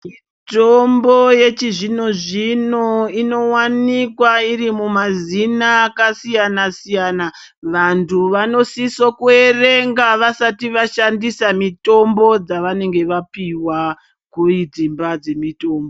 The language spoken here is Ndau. Mutombo yechizvino-zvino inowanikwa iri mumazina akasiyana-siyana. Vantu vanosiso kuwerenga vasati vashandisa mitombo dzavanenge vapiwa kudzimba dzemitombo.